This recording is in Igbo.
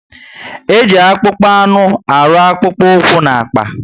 Eji akpụkpọ anụ arụ akpukpu úkwú na akpà